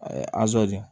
azo di